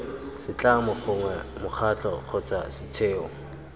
setlamo gongwe mokgatlho kgotsa setheo